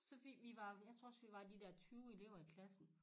Så fik vi var jeg tror også vi var de der 20 elever i klassen